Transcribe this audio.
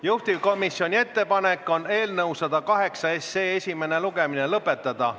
Juhtivkomisjoni ettepanek on eelnõu 108 esimene lugemine lõpetada.